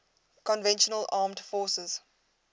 conventional armed forces